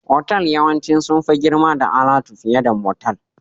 Otal yawanci sun fi girma da alatu fiye da motal